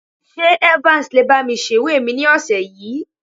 Ṣé Evans lè bá mi sèwé mi ní ọ̀sẹ̀ yìí?